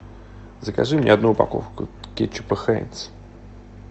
закажи мне одну упаковку кетчупа хайнс